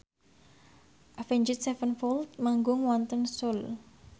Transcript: Avenged Sevenfold manggung wonten Seoul